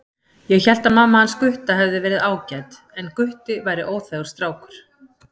Ég hélt að mamma hans Gutta hefði verið ágæt en Gutti væri óþægur strákur